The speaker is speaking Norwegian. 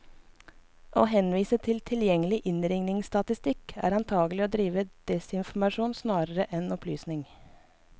Å henvise til lett tilgjengelig innringningsstatistikk, er antagelig å drive desinformasjon snarere enn opplysning.